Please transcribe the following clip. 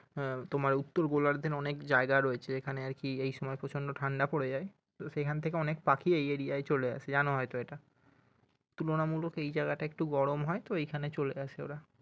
হম তোমার উত্তরগোলার্ধের অনেক জায়গা রয়েছে যেখানে আর কি এইসময় প্রচন্ড ঠান্ডা পরে যায় তো সেখান থেকে অনেক পাখি এই এরিয়ায় চলে আসে জানো হয়তো এটা তুলনামূক এই জায়গাটা একটু গরম হয়তো এইখানে চলে আসে ওরা